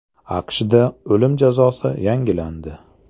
AQShda o‘lim jazosi yangilandi.